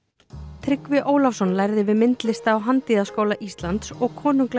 Tryggvi Ólafsson lærði við myndlista og handíðaskóla Íslands og konunglega